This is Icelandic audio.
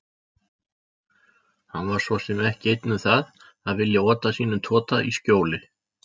Hann var svo sem ekki einn um það að vilja ota sínum tota í skjóli